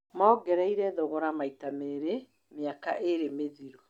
Mongereĩre thogora maita merĩ mĩaka ĩĩrĩ mĩthiru.